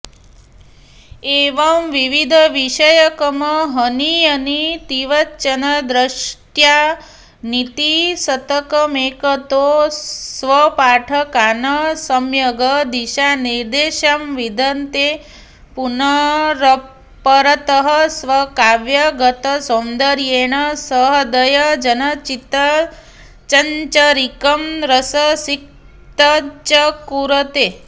एवं विविधविषयकमहनीयनीतिवचनदृष्ट्या नीतिशतकमेकतो स्वपाठकान् सम्यग् दिशानिर्देशं विधत्ते पुनरपरतः स्वकाव्यगतसौन्दर्येण सहृदयजनचित्तचञ्चरीकं रससिक्तञ्च कुरुते